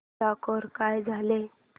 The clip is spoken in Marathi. स्कोअर काय झाला